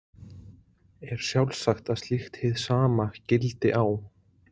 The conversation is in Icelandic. Er sjálfsagt að slíkt hið sama gildi á